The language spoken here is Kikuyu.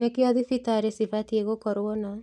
Nĩkĩo thibitarĩ cibatiĩ gũkorwo na